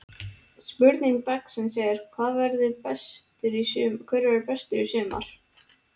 Spurning dagsins er: Hver verður bestur í sumar?